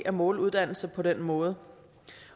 at måle uddannelse på den måde